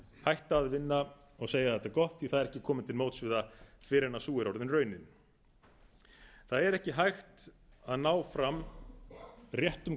hætta að vinna og segja þetta er gott því það er ekki komið til móts við það fyrr en sú er orðin raunin það er ekki hægt að ná fram réttum hvaða